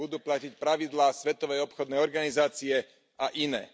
Budú platiť pravidlá Svetovej obchodnej organizácie a iné.